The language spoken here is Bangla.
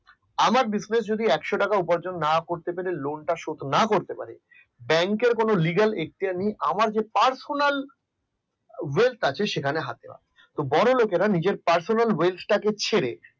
আমার business যদি একশো টাকা উপার্জন না করতে পেরে lone টা শোধ করতে না করতে পারি bank এর legal ইখতিয়ার নেই আমার যে personal wealth আছে সেখানে হাত দেওয়া বড় লোকেরা নিজের personal wealth টাকে ছেড়ে